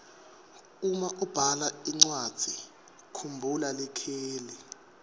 uma ubhala incwadzi kumbhula likheli